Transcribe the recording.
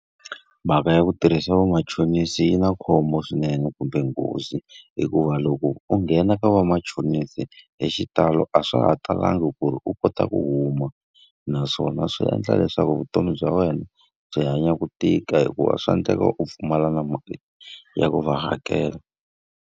Mhaka ya ku tirhisa vamachonisi yi na khombo swinene kumbe nghozi, hikuva loko u nghena ka vamachonisi hi xitalo a swa ha talanga ku ri u kota ku huma. Naswona swi endla leswaku vutomi bya wena byi hanya ku tika hikuva swa endleka u pfumala na mhaka ya ku va hakela.